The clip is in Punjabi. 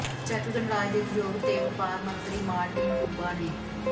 ਚੈੱਕ ਗਣਰਾਜ ਦੇ ਉਦਯੋਗ ਤੇ ਵਪਾਰ ਮੰਤਰੀ ਮਾਰਟਿਨ ਕੁਬਾ ਨੇ